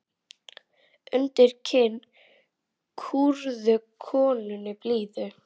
Undir kinn kúrðu konunni blíðu.